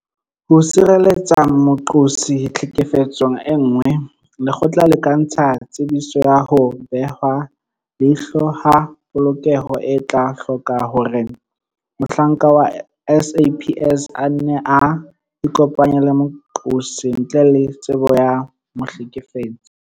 Ho sireletsa moqosi tlhekefetsong e nngwe, lekgotla le ka ntsha Tsebiso ya ho Behwa leihlo ha Polokeho e tla hloka hore mohlanka wa SAPS a nne a ikopanye le moqosi ntle le tsebo ya mohlekefetsi.